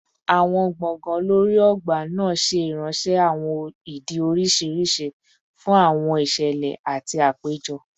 Awọn gbọngàn lori ogba naa ṣe iranṣẹ awọn idi oriṣiriṣi fun awọn iṣẹlẹ ati apejọ